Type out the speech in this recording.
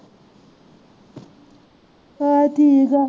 ਚੱਲ ਠੀਕ ਆ